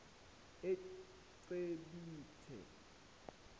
ecibithe